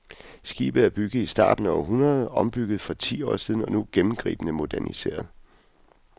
Skibet er bygget i starten af århundredet, ombygget for ti år siden og nu gennemgribende moderniseret.